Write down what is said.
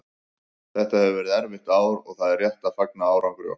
Þetta hefur verið erfitt ár og það er rétt að fagna árangri okkar.